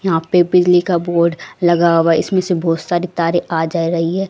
यहां पे बिजली का बोर्ड लगा हुआ है इसमें से बहोत सारी तारे आ जा रही है।